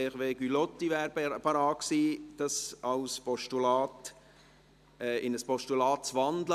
Auch Hervé Gullotti wäre bereit gewesen, diese in ein Postulat zu wandeln.